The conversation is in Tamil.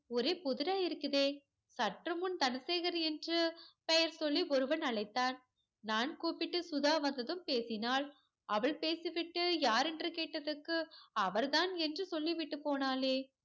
ஒரே புதிரா இருக்குதே. சற்று முன் தனசேகர் என்று பெயர் சொல்லி ஒருவன் அழைத்தான். நான் கூப்பிட்டு சுதா வந்ததும் பேசினாள். அவள் பேசிவிட்டு யாரென்று கேட்டதற்கு அவர் தான் என்று சொல்லிவிட்டு போனாளே.